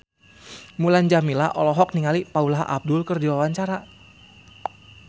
Mulan Jameela olohok ningali Paula Abdul keur diwawancara